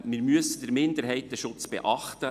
Wir müssen den Minderheitenschutz beachten.